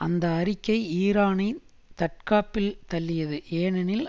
அந்த அறிக்கை ஈரானை தற்காப்பில் தள்ளியது ஏனெனில்